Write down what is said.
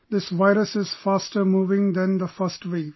This virus is faster moving than the first wave